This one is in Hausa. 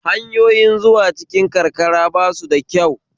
Hanyoyin zuwa cikin karkara basu da kyau